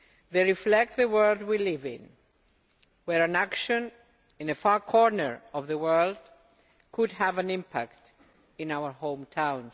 they reflect the world we live in, where an action in a far corner of the world could have an impact in our home town.